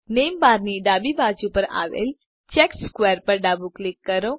name bar ની ડાબી બાજુ પર આવેલ ચેકર્ડ સ્ક્વેર પર ડાબું ક્લિક કરો